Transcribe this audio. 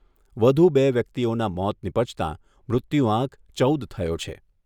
વધુ બે વ્યક્તિઓના મોત નિપજતા મૃત્યુઆંક ચૌદ થયો છે.